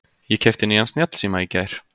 Ég keypti nýjan snjallsíma í gær.